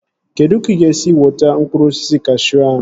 Kedụ ka ị ga-esi wọta mkpụrụ osisi kashuu ahụ?